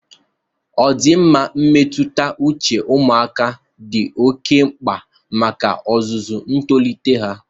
Ọdịmma mmetụta uche ụmụaka dị oke mkpa maka ozuzu ntolite ha.